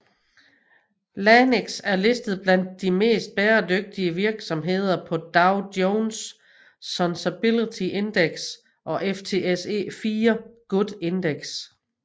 LANXESS er listet blandt de mest bæredygtige virksomheder på Dow Jones Sustainability Index og FTSE4Good Index